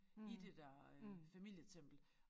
I det der øh familietempel